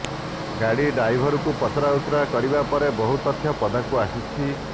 ଗାଡ଼ି ଡ଼ାଇଭରକୁ ପଚରାଉଚରା କରିବା ପରେ ବହୁ ତଥ୍ୟ ପଦାକୁ ଆସିଛି